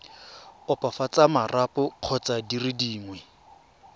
opafatsa marapo kgotsa dire dingwe